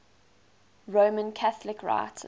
roman catholic writers